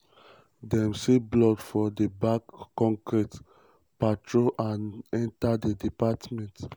dem see blood for di back concrete patio and enter di apartment.